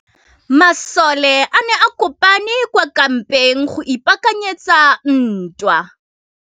Masole a ne a kopane kwa kampeng go ipaakanyetsa ntwa.